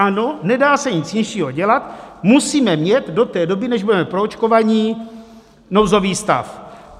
Ano, nedá se nic jiného dělat, musíme mít do té doby, než budeme proočkovaní, nouzový stav.